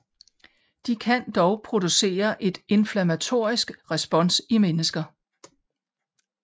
De kan dog producere et inflammatorisk respons i mennesker